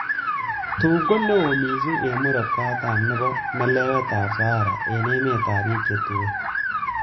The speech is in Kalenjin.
Tun konewo missing en Murot katam nebo melewetab Sahara en emetab bik che tuen.